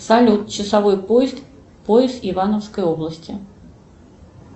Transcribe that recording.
салют часовой пояс ивановской области